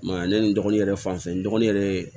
I m'a ye ale ni n dɔgɔnin yɛrɛ fanfɛ n dɔgɔnin yɛrɛ ye